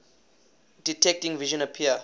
detecting vision appear